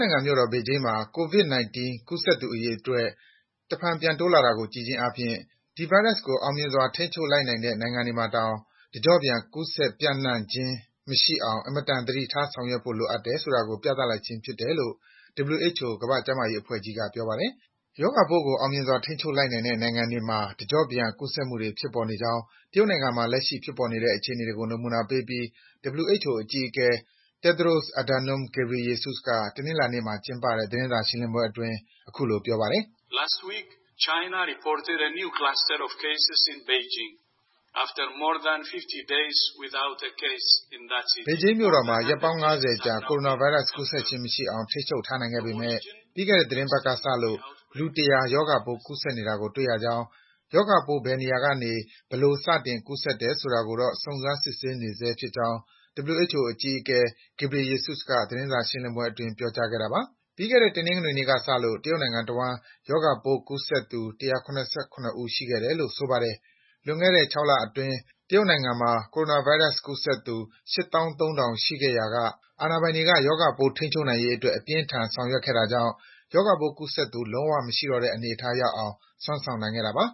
နိုင်ငံမြို့တော် ဘေဂျင်းမှာ COVID-19 ကူးစက်သူအရေအတွက် တဖန်ပြန်တိုးလာတာကို ကြည့်ခြင်းအားဖြင့် ဒီဗိုင်းရပ်စ်ကို အောင်မြင်စွာ ထိန်းချုပ်လိုက်နိုင်တဲ့နေရာတွေမှာတောင် တကျော့ပြန် ကူးစက်ပြန့်နှံ့ခြင်းမရှိအောင် အင်မတန် သတိထားဆောင်ရွက်ဖို့ လိုအပ်တယ်ဆိုတာကို ပြသလိုက်ခြင်းဖြစ်ကြောင်း WHO ကမ္ဘာ့ကျန်းမာရေးအဖွဲ့ကြီးက ပြောပါတယ်။ ရောဂါပိုးကို အောင်မြင်စွာ ထိန်းချုပ်လိုက်နိုင်တဲ့နိုင်ငံတွေမှာတောင် တကျော့ပြန် ရောဂါပိုး ကူးစက်မှုတွေ ဖြစ်ပေါ်နေကြောင်း တရုတ်နိုင်ငံမှာ ဖြစ်ပေါ်လက်ရှိအခြေအနေတွေကို နမူနာပေးပြီး WHO အကြီးအကဲ Tedros Adhanom Ghebreyesus က တနင်္လာနေ့မှာ ကျင်းပတဲ့ သတင်းစာရှင်းလင်းပွဲအတွင်း အခုလို ပြောပါတယ်။ “ဘေဂျင်းမြို့တော်မှာ ရက်ပေါင်း ၅၀ ကြာ ကိုရိုနာဗိုင်းရပ်စ် ကူးစက်ခြင်းမရှိအောင် ထိန်းချုပ်ထားခဲ့နိုင်ပေမယ့် ပြီးခဲ့တဲ့ သီတင်းပတ်ကစလို့ လူ ၁၀၀ ရောဂါပိုးကူးစက်နေတာကို တွေ့ရကြောင်း၊ ရောဂါပိုး ဘယ်နေရာကနေ ဘယ်လိုစတင် ကူးစက်တယ်ဆိုတာကိုတော့ စုံစမ်းစစ်ဆေးနေဆဲဖြစ်ကြောင်း” WHO အကြီးအကဲ Ghebreyesus က သတင်းစာရှင်းလင်းပွဲအတွင်း ပြောကြားခဲ့တာပါ။ ပြီးခဲ့တဲ့ တနင်္ဂနွေနေ့ကစလို့ တရုတ်နိုင်ငံတဝှမ်း ရောဂါပိုးကူးစက်သူ ၁၇၇ ဦး ရှိခဲ့တယ်လို့ ဆိုပါတယ်။ လွန်ခဲ့တဲ့ ၆ လလောက်အတွင်း တရုတ်နိုင်ငံမှာ ကိုရိုနာဗိုင်းရပ်စ်ကူးစက်သူ ၈၃,၀၀၀ ရှိခဲ့ရာ အာဏာပိုင်တွေက ရောဂါပိုး ထိန်းချုပ်နိုင်ရေးအတွက် အပြင်းအထန် ဆောင်ရွက်ခဲ့တာကြောင့် ရောဂါပိုး ကူးစက်သူ လုံးဝမရှိတော့တဲ့အနေအထားရောက်အောင် စွမ်းဆောင်နိုင်ခဲ့တာပါ